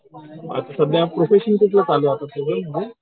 आता सध्या प्रोसेसिंग कुठली चालू आहे तुझी